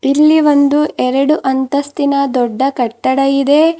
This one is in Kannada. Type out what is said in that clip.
ಇಲ್ಲಿ ಒಂದು ಎರಡು ಅಂತಸ್ತಿನ ದೊಡ್ಡ ಕಟ್ಟಡ ಇದೆ.